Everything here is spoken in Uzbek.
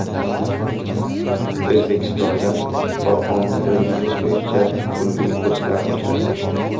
O‘zbekistonda Qur’onni o‘rganish bo‘yicha pulli kurslar ochiladi.